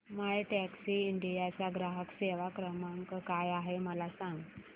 My Taxi India चा ग्राहक सेवा क्रमांक काय आहे मला सांग